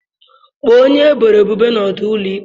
Kpọọ onye eboro ebubo na ọdụ ụlọ ikpe.